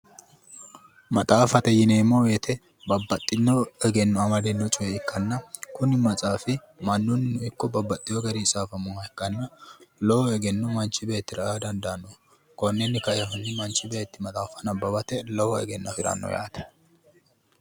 Maxaaffate yineemmo woyiite baxxinno amadino coye ikkanna kuni maxaafi babbaxxino garinni tsaafaminnoha ikkanna lowo egenno manchi beettira aa dandaanno. konninni kaeehunni manchi beetti nabbawatenni lowo egenno afiranno yaate.